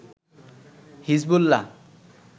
Hezbollah